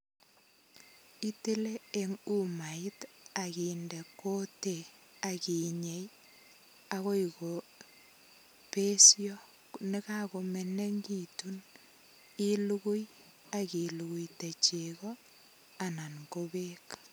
Itile eng umait, akinde kutit, akinyei akoi kobesoi. Konekakomenekitu, ilugui, akiluguite chego, anan ko beek.